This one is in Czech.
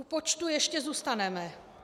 U počtů ještě zůstaneme.